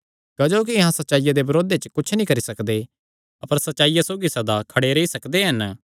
क्जोकि अहां सच्चाईया दे बरोध च कुच्छ नीं करी सकदे अपर सच्चाईया सौगी सदा खड़े रेई सकदे हन